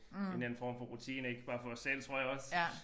En eller anden form for rutine ik bare for os selv tror jeg også